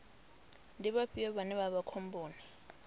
ndi vhafhio vhane vha vha khomboni